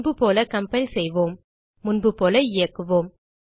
முன்புபோல கம்பைல் செய்போம் முன்புபோல இயக்குவோம்